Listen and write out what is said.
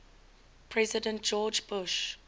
president george bush